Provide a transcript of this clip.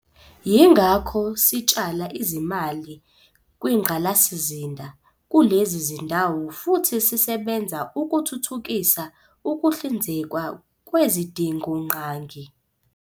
Yingakho sitshala izimali kwingqalasizinda kulezi zindawo futhi sisebenza ukuthuthukisa ukuhlinzekwa kwezidingongqangi.